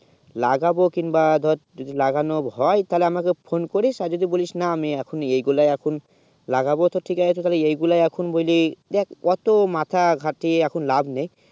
লাগবো কিন্ বা যদি লাগানো হয়ে তালে আমাকে phone করিস আর না যদি বলিস না আমি এখন এইগুলা এখন লাগাবো তো ঠিক আছে তালে এইগুলা এখন বলি দেখ অটো মাথা গাঁতিয়ে এখন লাভ নেই